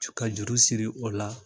Ka juru siri o la